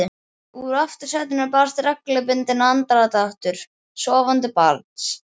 Úr aftursætinu barst reglubundinn andardráttur sofandi barns.